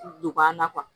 Donba la